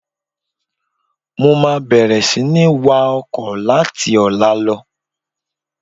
Mo máa bẹ̀rẹ̀ sini wá ọkọ̀ láti ọ̀la lọ.